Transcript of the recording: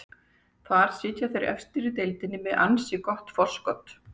Þar sitja þeir efstir í deildinni með með ansi gott forskot.